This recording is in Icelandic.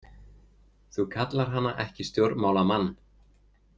Þú kallar hana ekki stjórnmálamann.